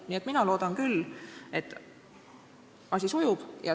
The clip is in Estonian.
Nii et mina loodan küll, et asi sujub.